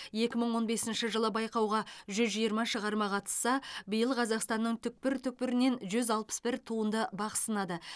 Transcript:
екі мың он бесінші жылы байқауға жүз жиырма шығарма қатысса биыл қазақстанның түкпір түкпірінен жүз алпыс бір туынды бақ сынады